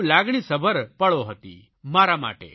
ખૂબ લાગણીસભર પળો હતી મારા માટે